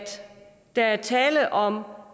der er tale om